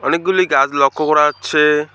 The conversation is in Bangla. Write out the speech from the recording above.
অনেকগুলি গাছ লক্ষ্য করা যাচ্ছে।